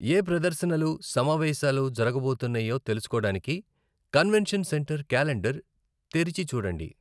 ఏ ప్రదర్శనలు, సమావేశాలు జరగబోతున్నాయో తెలుసుకోడానికి కన్వెన్షన్ సెంటర్ క్యాలెండర్ తెరచిచూడండి.